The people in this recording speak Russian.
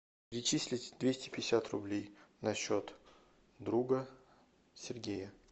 перечислить двести пятьдесят рублей на счет друга сергея